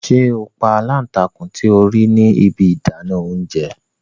Ṣe o pa alántakùn ti o rii ni ibi idana ounjẹ!